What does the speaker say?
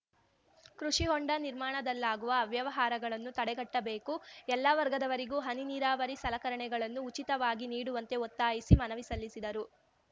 ಕೃಷಿ ಹೊಂಡ ನಿರ್ಮಾಣದಲ್ಲಾಗುವ ಅವ್ಯವಹಾರಗಳನ್ನು ತಡೆಗಟ್ಟಬೇಕು ಎಲ್ಲ ವರ್ಗದವರಿಗೂ ಹನಿ ನೀರಾವರಿ ಸಲಕರಣೆಗಳನ್ನು ಉಚಿತವಾಗಿ ನೀಡುವಂತೆ ಒತ್ತಾಯಿಸಿ ಮನವಿ ಸಲ್ಲಿಸಿದರು